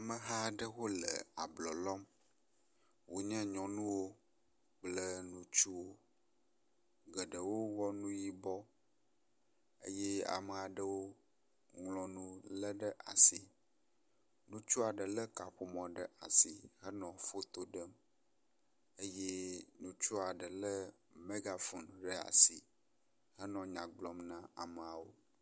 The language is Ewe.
Ameha aɖewo e ablɔ lɔm, wonye nyɔnuwo kple ŋutsuwo, geɖewo wɔ nu yibɔ. Eye amea ɖewo ŋlɔ nu lé ɖe asi. Ŋutsu aɖe lé kaƒomɔ ɖe asi henɔ foto ɖem eye ŋutsua ɖe lé mɛgafon ɖe asi henɔ nya gblɔm ne ameawo.